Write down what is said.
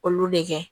Olu de kɛ